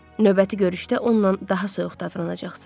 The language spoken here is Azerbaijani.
Növbəti görüşdə onunla daha soyuq davranacaqsan.